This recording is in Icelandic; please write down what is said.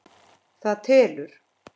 Það telur.